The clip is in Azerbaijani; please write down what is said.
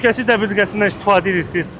Təhlükəsizlik tədbirindən istifadə edirsiniz.